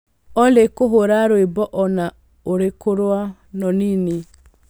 Olly kũhũra rwĩmbo o na ũrĩkũ rwa nonini